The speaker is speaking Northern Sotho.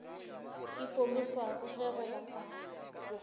e pomipwago ge go bapatpwa